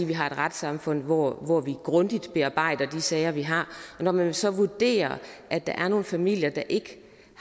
vi har et retssamfund hvor hvor vi grundigt bearbejder de sager vi har og når man så vurderer at der er nogle familier der ikke